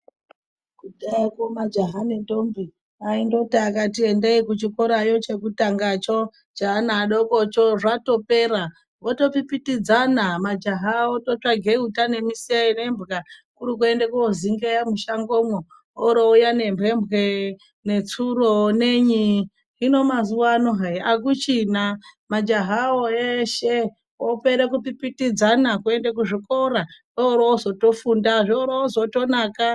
Kudhayako majaha nendombi aindoti akati endei kuchikora chekutangacho cheana adokocho zvatopera otopitipidzana majaha ototsvaga uta nemuseve nembwa kuri kuenda kozingeya mushangomwo ,orouya nembembwe netsuro nenyi .Hino mazuva ano hai akuchina majahawo eshe opere kupipitidzana kuende kuzvikora orozotofunda zvorozotonaka .